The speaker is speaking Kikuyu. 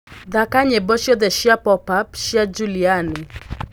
thaka nyĩmbo cĩothe cĩa pop cĩa juliani